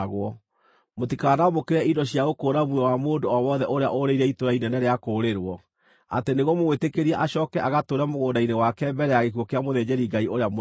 “ ‘Mũtikanamũkĩre indo cia gũkũũra muoyo wa mũndũ o wothe ũrĩa ũũrĩire itũũra inene rĩa kũũrĩrwo, atĩ nĩguo mũmwĩtĩkĩrie acooke agatũũre mũgũnda-inĩ wake mbere ya gĩkuũ kĩa mũthĩnjĩri-Ngai ũrĩa mũnene.